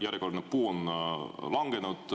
Järjekordne puu on selle tõttu langenud.